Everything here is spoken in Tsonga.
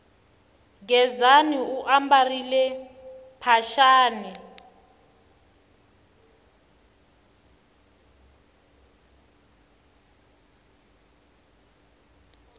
gezani u ambarile mphaxani